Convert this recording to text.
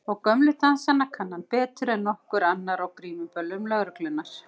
Og gömlu dansana kann hann betur en nokkur annar á grímuböllum lögreglunnar.